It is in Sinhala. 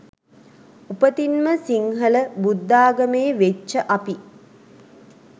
උපතින්ම සින්හල බුද්ධාගමේ වෙච්ච අපි